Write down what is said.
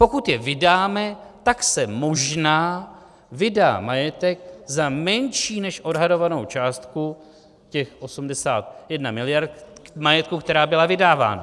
Pokud je vydáme, tak se možná vydá majetek za menší než odhadovanou částku, těch 81 mld. majetku, která byla vydávána.